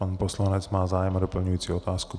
Pan poslanec má zájem o doplňující otázku.